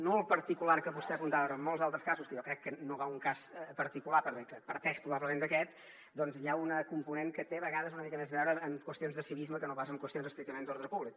no el particular que vostè apuntava ara en molts altres casos que jo crec que no va a un cas particular perquè parteix probablement d’aquest doncs hi ha un component que té a vegades una mica més a veure amb qüestions de civisme que no pas amb qüestions estrictament d’ordre públic